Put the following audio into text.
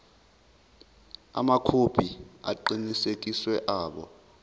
amakhophi aqinisekisiwe abo